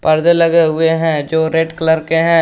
परदे लगे हुए हैं जो रेड कलर के हैं।